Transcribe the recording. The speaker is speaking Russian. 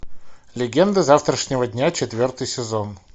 легенды завтрашнего дня четвертый сезон